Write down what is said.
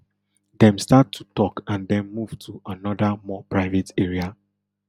dem start to tok and den move to anoda more private area